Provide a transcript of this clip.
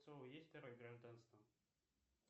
есть второе гражданство